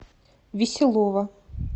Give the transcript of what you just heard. веселова